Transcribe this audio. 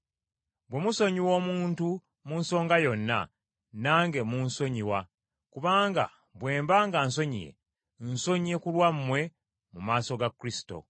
Bwe musonyiwa omuntu mu nsonga yonna, nange mmunsonyiwa, kubanga bwe mba nga nsonyiye, nsonyiye ku lwammwe mu maaso ga Kristo.